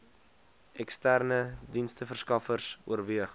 eksterne diensteverskaffers oorweeg